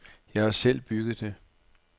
Jeg har selv bygget det.